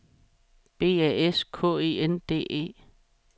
B A S K E N D E